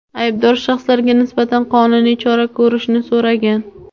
aybdor shaxslarga nisbatan qonuniy chora ko‘rishni so‘ragan.